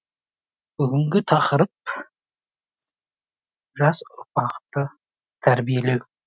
бүгінгі тақырып жас ұрпақты тәрбиелеу